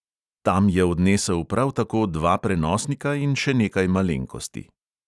Tam je odnesel prav tako dva prenosnika in še nekaj malenkosti.